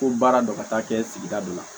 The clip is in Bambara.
Ko baara dɔ ka taa kɛ sigida dɔ la